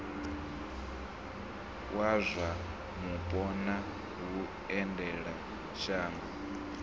wa zwa mupo na vhuendelamashango